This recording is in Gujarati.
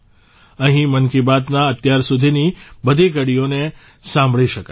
અહીં મન કી બાતના અત્યારસુધીની બધી કડીઓને સાંભળી શકાય છે